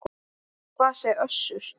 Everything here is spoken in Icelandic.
En hvað segir Össur?